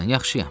yaxşıyam.